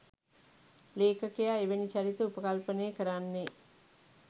ලේඛකයා එවැනි චරිත උපකල්පනය කරන්නේ